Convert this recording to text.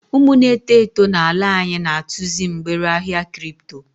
Umu n'eto eto n'ala anyị na-atụzị mgbere ahịa kripto.